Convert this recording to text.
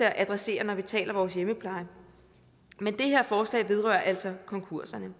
at adressere når vi taler vores hjemmepleje men det her forslag vedrører altså konkurser